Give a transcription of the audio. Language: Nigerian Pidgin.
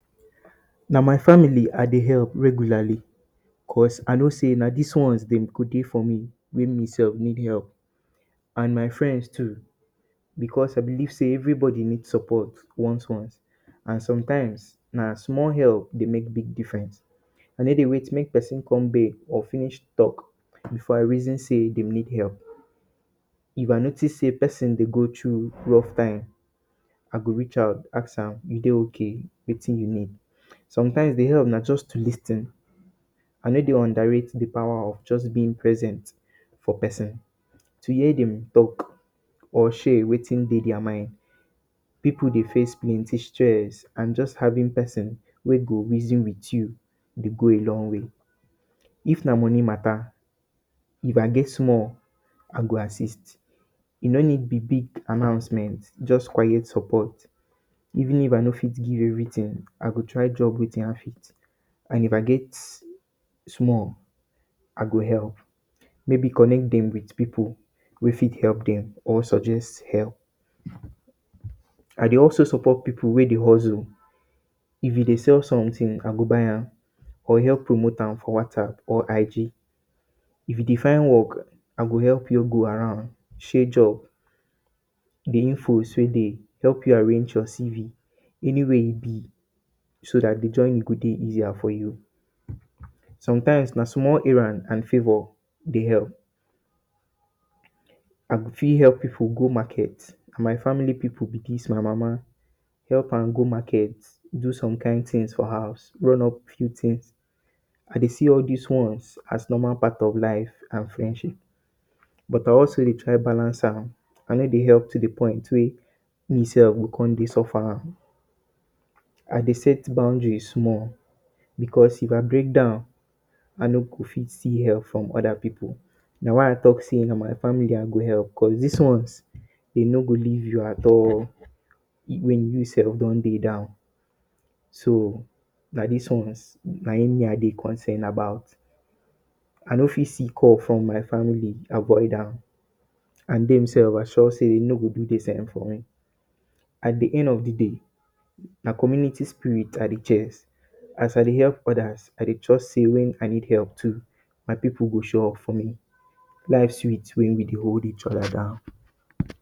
Na my family I dey epp regularly because, I know sey na dis ones dem go dey for me wen me sef need epp. And my friends too, because I believe sey everybody need support once once. And sometimes, na small epp dey make big difference. I no dey wait make pesin come beg or finish tok before I reason sey dem dey need epp. If I notice sey pesin dey go through rough time, I go reach out, ask am “you dey okay?”, ask am wetin e need. Sometimes, e dey epp to lis ten. I no dey underrate di power of just being present for pesin, to hear dem tok or share wetin dey dia mind. Pipu dey face plenty stress, and just having pesin wey go reason with you dey go a long way. If na moni ma?ta?, if I get small, I go assist. E no need be big announcement, just quiet support. Even if I no fit give everytin, I go try drop wetin I fit. And if I get small, I go epp. Maybe connect dem with pipu wey fit epp dem or suggest epp. I dey also support pipu wey dey hustle. If you dey sell sometin, I go buy am, or epp promote am for WhatsApp or IG. If you dey find work, I go epp you go around, share job, di infos wey dey, help you arrange your CV, any way e be, so dat di journey go dey easier for you. Sometimes, na small errand and favour dey epp. I go fit epp you for go market. Na my family pipu be dis. My mama, epp am go market, do some kain tins for house, run up few tins. I dey see all dis ones as normal part of life and friendship. But I also dey try balance am. I no dey epp to di point wey me sef go con dey suffer am. I dey set boundary small, because, if I break down, I no go fit see epp from oda pipu. Na why I tok sey na my family I go epp because dis ones, dey no go leave you at all wen you sef don dey down. So, na dis ones na im me I dey concern about. I no fit see call from my family avoid am. And dem sef, I sure sey dem no go do di same for me. At di end of di day, na community spirit I dey chase. As I dey epp odas, I trust sey wen I need epp too, my pipu go show up for me. Life sweet wen we dey hold eachoda down.